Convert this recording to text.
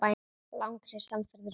Langri samferð er lokið.